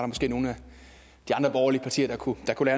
måske nogle af de andre borgerlige partier der kunne der kunne